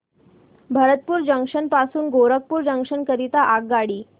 Bharatpur junction पासून Gorakhpur junction करीता आगगाडी